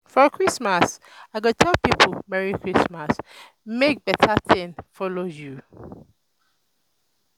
for christmas i go tell people "merry christmas! make better thing follow you!"